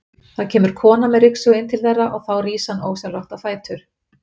Það kemur kona með ryksugu inn til þeirra og þá rís hann ósjálfrátt á fætur.